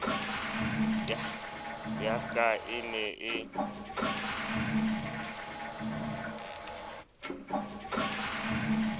ya ka e ne e